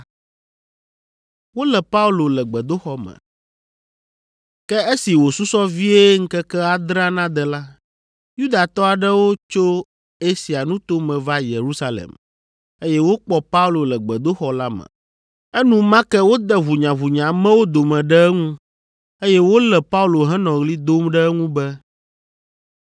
Ke esi wòsusɔ vie ŋkeke adrea nade la, Yudatɔ aɖewo tso Asia nuto me va Yerusalem, eye wokpɔ Paulo le gbedoxɔ la me. Enumake wode ʋunyanya amewo dome ɖe eŋu, eye wolé Paulo henɔ ɣli dom ɖe eŋu be,